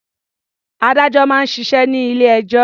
Adájọ́ máa ń ṣiṣẹ́ ní ilé-ẹjọ́.